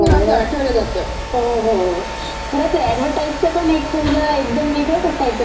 खरं ते ऍडव्हर्टाइजच पण एक पहिलं एकदम वेगळंच असायचं नाही, सगळं संतूर साबणाची पण ती..